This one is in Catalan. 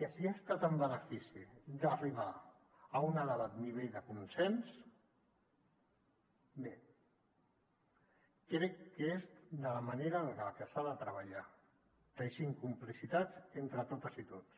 que si ha estat en benefici d’arribar a un elevat nivell de consens bé crec que és la manera en la que s’ha de treballar teixint complicitats entre totes i tots